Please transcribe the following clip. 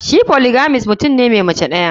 Shi polygamist mutum ne Mai Mace daya.